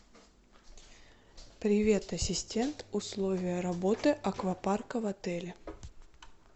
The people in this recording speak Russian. привет ассистент условия работы аквапарка в отеле